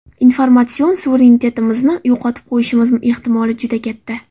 Informatsion suverenitetimizni yo‘qotib qo‘yishimiz ehtimoli juda katta.